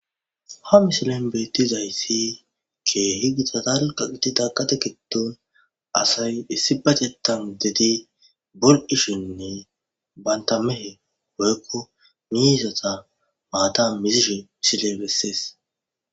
ha misilen beettizayssi ke'hi gita dalgga gididda gade giddon asay issibatetan uttidi buchchishshenne banta mehe woykko miizatta maatan mizishshe misiley bessees